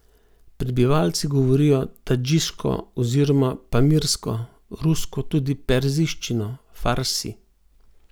Prebivalci govorijo tadžiško oziroma pamirsko, rusko, tudi perzijščino, farsi.